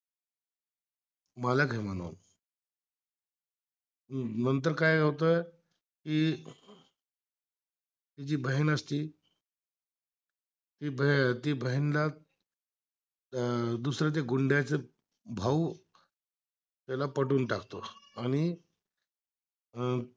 अं दुसरं ते गुंड्याचा भाऊ ला पटवून टाकतो आणि अं